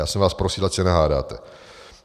Já jsem vás prosil, ať se nehádáte.